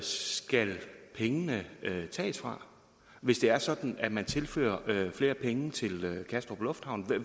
skal pengene tages fra hvis det er sådan at man tilfører flere penge til kastrup lufthavn